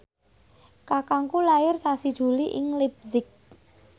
kakangku lair sasi Juli ing leipzig